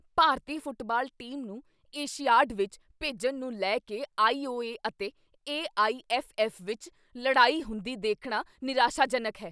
ਭਾਰਤੀ football team ਨੂੰ Asiad ਵਿੱਚ ਭੇਜਣ ਨੂੰ ਲੈ ਕੇ ਆਈ.ਓ.ਏ. ਅਤੇ ਏ.ਆਈ.ਐੱਫ.ਐੱਫ. ਵਿੱਚ ਲਡ਼ਾਈ ਹੁੰਦੀ ਦੇਖਣਾ ਨਿਰਾਸ਼ਾਜਨਕ ਹੈ।